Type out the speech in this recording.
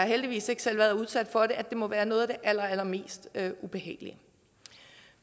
heldigvis ikke selv været udsat for at det må være noget af det allerallermest ubehagelige